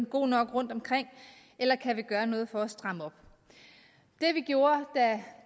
god nok rundtomkring eller kan vi gøre noget for at stramme op det vi gjorde da